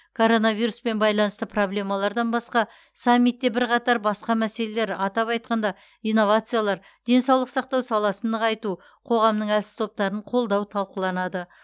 коронавируспен байланысты проблемалардан басқа саммитте бірқатар басқа мәселелер атап айтқанда инновациялар денсаулық сақтау саласын нығайту қоғамның әлсіз топтарын қолдау талқыланады